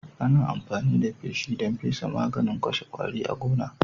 Ana amfani da feshi don fesa maganin kashe kwari a gona